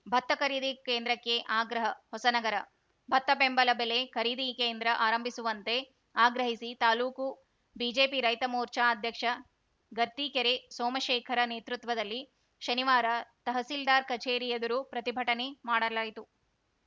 ಭತ್ತ ಖರೀದಿ ಕೇಂದ್ರಕ್ಕೆ ಆಗ್ರಹ ಹೊಸನಗರ ಭತ್ತ ಬೆಂಬಲ ಬೆಲೆ ಖರೀದಿ ಕೇಂದ್ರ ಆರಂಭಿಸುವಂತೆ ಆಗ್ರಹಿಸಿ ತಾಲೂಕು ಬಿಜೆಪಿ ರೈತ ಮೋರ್ಚಾ ಅಧ್ಯಕ್ಷ ಗರ್ತಿಕೆರೆ ಸೋಮಶೇಖರ ನೇತೃತ್ವದಲ್ಲಿ ಶನಿವಾರ ತಹಸೀಲ್ದಾರ್‌ ಕಚೇರಿ ಎದುರು ಪ್ರತಿಭಟನೆ ಮಾಡಲಾಯಿತು